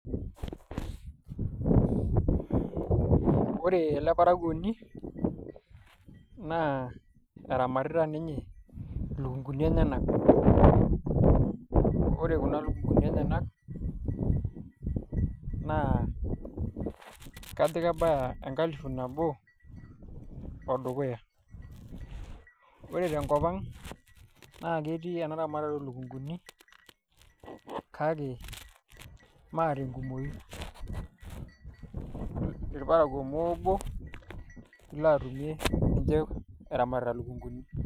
Wore ele parakuoni, naa eramatita ninye ilukunguni enyanak. Wore kuna lukunguni enyanak, naa kajo kebaya enkalifu nabo o dukuya. Wore tenkop ang', naa ketii enaramatare oo lukunguni, kake maa tenkumoyu, ilparakuo moobo ilo atumie eramatita ilukunguni.